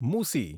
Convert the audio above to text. મુસી